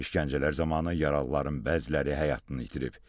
İşgəncələr zamanı yaralıların bəziləri həyatını itirib.